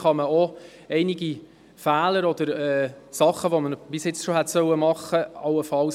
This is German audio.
Denn so können einige Fehler korrigiert und Dinge gemacht werden, die bereits hätten gemacht werden sollen.